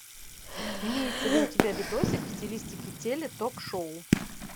имеется ли у тебя видосик в стилистике теле ток шоу